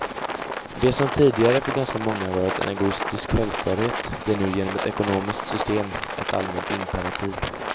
Det som tidigare för ganska många varit en egoistisk självklarhet blir nu genom ett ekonomiskt system ett allmänt imperativ.